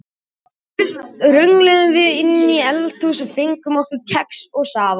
Fyrst röngluðum við inn í eldhús og fengum okkur kex og safa.